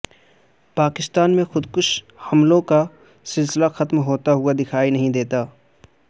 پاکستان میں خودکش حملوں کا سلسلہ ختم ہوتا ہوا دکھائی نہیں دیتا